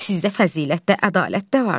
Sizdə fəzilət də, ədalət də var.